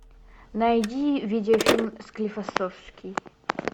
найди видеофильм склифосовский